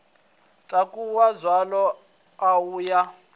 takuwa dzaṱa a ya a